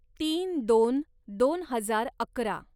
तीन दोन दोन हजार अकरा